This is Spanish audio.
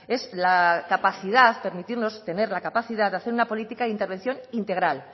es la capacidad permitirnos tener la capacidad de hacer una política de intervención integral